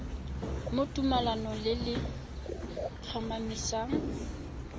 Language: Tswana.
mo tumalanong le le tlhomamisang